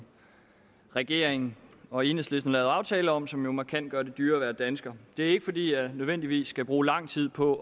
regeringen og enhedslisten har lavet aftale om som jo markant gør det dyrere at være dansker det er ikke fordi jeg nødvendigvis skal bruge lang tid på